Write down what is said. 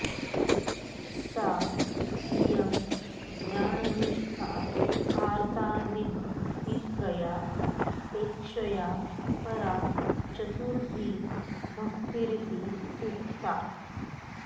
सा इयं ज्ञाननिष्ठा आर्तादिभक्तित्रयापेक्षया परा चतुर्थी भक्तिरिति उक्ता